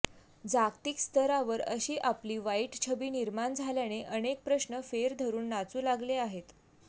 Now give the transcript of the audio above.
जागतिक स्तरावर अशी आपली वाईट छबी निर्माण झाल्याने अनेक प्रश्न फेर धरून नाचू लागले आहेत